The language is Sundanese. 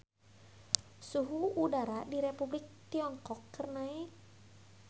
Suhu udara di Republik Tiongkok keur naek